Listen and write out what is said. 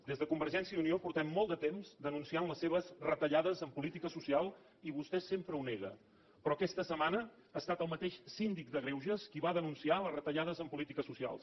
des de convergència i unió fa molt de temps que denunciem les seves retallades en política social i vostè sempre ho nega però aquesta setmana ha estat el mateix síndic de greuges qui va denunciar les retallades en polítiques socials